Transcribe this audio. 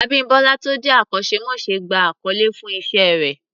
Abímbọ́lá tó jẹ́ akọ́ṣẹ́mọṣẹ́ gba àkọlé fún Iṣẹ́ rẹ̀